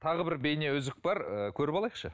тағы бір бейне үзік бар ііі көріп алайықшы